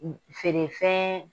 Feerefɛɛn